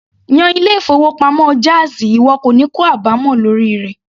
Yan ilé-ìfowópamọ́ jáàzì ìwọ kò ní kó àbámọ̀ lórí rẹ̀.